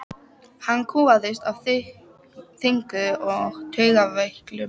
Hann kúgaðist af þynnku og taugaveiklun.